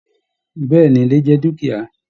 Bẹ̀ẹ́ni, ilẹ̀ jẹ dukia.